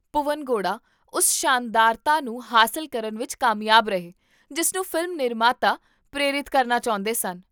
ਭੁਵਨ ਗੌੜਾ ਉਸ ਸ਼ਾਨਦਾਰਤਾ ਨੂੰ ਹਾਸਲ ਕਰਨ ਵਿੱਚ ਕਾਮਯਾਬ ਰਹੇ ਜਿਸ ਨੂੰ ਫ਼ਿਲਮ ਨਿਰਮਾਤਾ ਪ੍ਰੇਰਿਤ ਕਰਨਾ ਚਾਹੁੰਦੇ ਸਨ